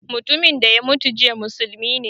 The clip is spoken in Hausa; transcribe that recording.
Mutumin da ya mutu jiya musulmi ne